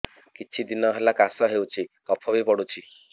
କିଛି ଦିନହେଲା କାଶ ହେଉଛି କଫ ବି ପଡୁଛି